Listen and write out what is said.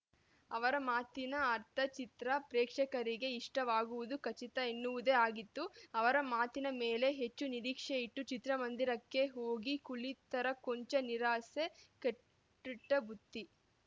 ಅವರ ಮಾತಿನ ಅರ್ಥ ಚಿತ್ರ ಪ್ರೇಕ್ಷಕರಿಗೆ ಇಷ್ಟವಾಗುವುದು ಖಚಿತ ಎನ್ನುವುದೇ ಆಗಿತ್ತು ಅವರ ಮಾತಿನ ಮೇಲೆ ಹೆಚ್ಚು ನಿರೀಕ್ಷೆಯಿಟ್ಟು ಚಿತ್ರಮಂದಿರಕ್ಕೆ ಹೋಗಿ ಕುಳಿತರೆ ಕೊಂಚ ನಿರಾಸೆ ಕೆಟ್ಟಿಟ್ಟಬುತ್ತಿ